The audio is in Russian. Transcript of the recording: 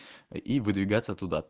и выдвигаться туда